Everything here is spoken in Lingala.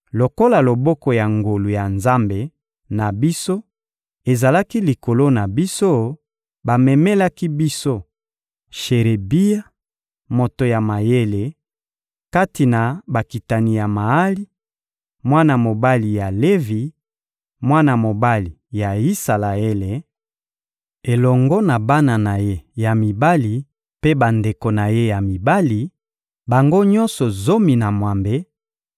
Lokola loboko ya ngolu ya Nzambe na biso ezalaki likolo na biso, bamemelaki biso Sherebia, moto ya mayele, kati na bakitani ya Maali, mwana mobali ya Levi, mwana mobali ya Isalaele, elongo na bana na ye ya mibali mpe bandeko na ye ya mibali, bango nyonso zomi na mwambe,